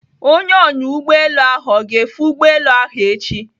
Onye ọnya ụgbọelu ahụ ọ ga-efe ụgbọelu ahụ echi?